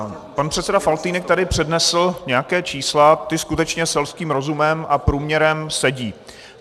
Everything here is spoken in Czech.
Pan předseda Faltýnek tady přednesl nějaká čísla, ta skutečně selským rozumem a průměrem sedí.